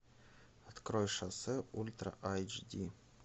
открой шоссе ультра айч ди